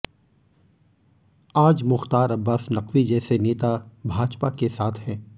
आज मुख्तार अब्बास नकवी जैसे नेता भाजपा के साथ हैं